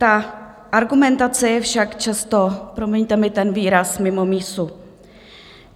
Ta argumentace je však často, promiňte mi ten výraz, mimo mísu.